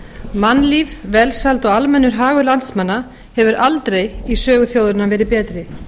mannlíf velsæld og almennur hagur landsmanna hefur aldrei í sögu þjóðarinnar verið betri